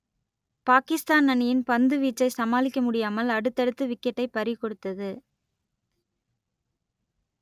பாகிஸ்தான் அணியின் பந்துவீச்சை சமாளிக்க முடியாமல் அடுத்தடுத்து விக்கெட்டை பறிகொடுத்தது